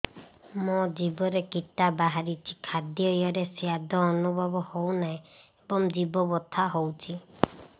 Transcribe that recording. ମୋ ଜିଭରେ କିଟା ବାହାରିଛି ଖାଦ୍ଯୟରେ ସ୍ୱାଦ ଅନୁଭବ ହଉନାହିଁ ଏବଂ ଜିଭ ବଥା ହଉଛି